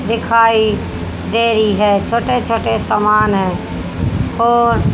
दिखाई दे रही है छोटे छोटे समान है और--